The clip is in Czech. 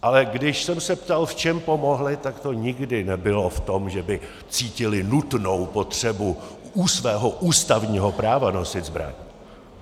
Ale když jsem se ptal, v čem pomohli, tak to nikdy nebylo v tom, že by cítili nutnou potřebu u svého ústavního práva nosit zbraň.